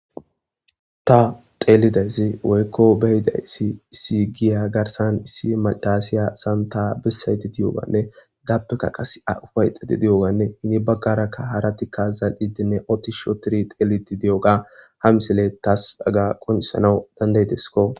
Ta teelidayssi woykko beyidayssi issi giya garsan issi macaasiya santa bessayti di7oganne gappeka qas a ufayxati di7oganne hini baggarakka haratikka zal7idinne oti shootiri teeliti di7oga ha misile taas dagga qonisanau dandaydeskko